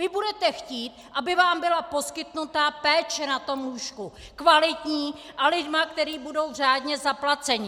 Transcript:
Vy budete chtít, aby vám byla poskytnuta péče na tom lůžku, kvalitní a lidmi, kteří budou řádně zaplaceni.